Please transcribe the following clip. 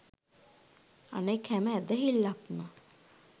අනෙක් හැම ඇදහිල්ලක්ම